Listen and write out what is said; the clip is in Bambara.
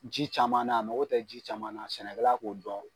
Ji caman na, a mago tɛ ji caman na sɛnɛkɛla k'o don